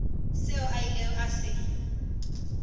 seo a ilego a se